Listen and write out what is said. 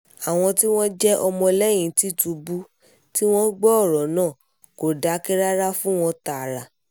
àwọn tí wọ́n jẹ́ ọmọlẹ́yìn tìtúbù tí wọ́n gbọ́ ọ̀rọ̀ náà kò dákẹ́ rárá fún wọn tààrà